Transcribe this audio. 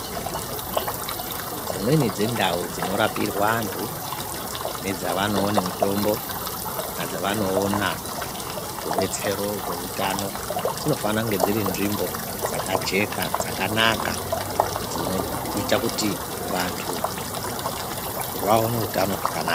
Dzimweni dzendau dzinorapirwe antu nedzavanoone mitombo kana dzavanoona rubetsero rweutano dzinofana kunge dziri nzvimbo dzakajeka dzakanaka dzinoita kuti vantu vaone utano hwakanaka.